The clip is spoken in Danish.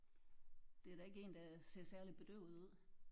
Det er da ikke en der ser særlig bedøvet ud